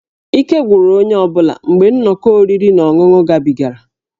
Ike gwụrụ onye ọ bụla mgbe nnọkọ oriri na ọṅụṅụ gabigara